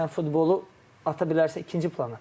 Sən futbolu ata bilərsən ikinci plana.